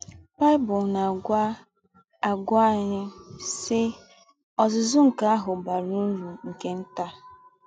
Bible na - àgwà - àgwà ányị, sì: “ Ọ́zụ́zụ́ nke áhụ̄ bàrà ūrù nke ntà. ”